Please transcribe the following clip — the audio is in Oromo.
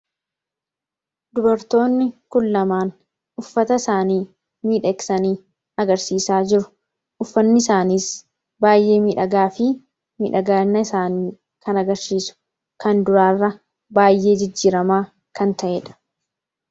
dubartoonni kun lamaan uffata isaanii miidheeksanii agarsiisaa jiru uffanni isaaniis baayyee midhagaa fi midhaginna isaanii kan agarsiisu kan duraarra baay'ee jijjiramaa kan ta'eedha